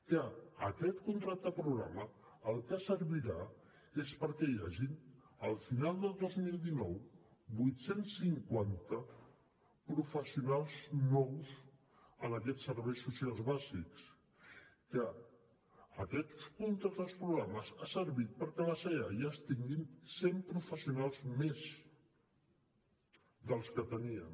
que aquest contracte programa per al que servirà és perquè hi hagin al final del dos mil dinou vuit cents i cinquanta professionals nous en aquests serveis socials bàsics que aquest contracte programa ha servit perquè els eaias tinguin cent professionals més dels que tenien